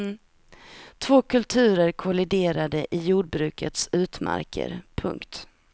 Två kulturer kolliderade i jordbrukets utmarker. punkt